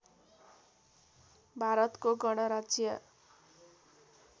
भारतको गणराज्य